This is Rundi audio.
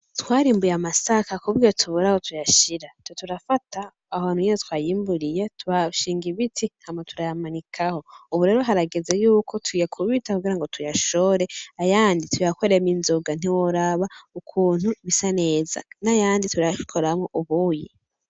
Twarimbuye amasaka kuburyo tubura aho tuyashira, ca turafata aho hantu nyene twayimburiye tuhashinga ibiti hama turayamanikaho, ubu rero harageze yuko tuyakubita kugira ngo tuyashore, ayandi tuyakoremwo inzoga, ntiworaba ukuntu bisa neza, n'ayandi turayakoramwo ubuyi.